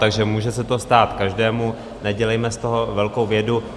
Takže může se to stát každému, nedělejme z toho velkou vědu.